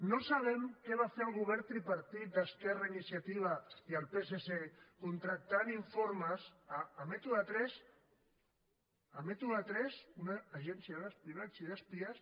no sabem què va fer el govern tripartit d’esquerra iniciativa i el psc contractant informes a método tres a método tres una agència d’espionatge i d’espies